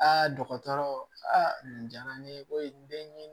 dɔgɔtɔrɔ nin diyara ne ye koyi den ye